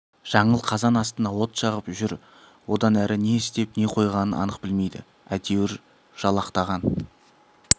жаңыл қазан астына от жағып жүр одан әрі не істеп не қойғанын анық білмейді әйтеуір жалақтаған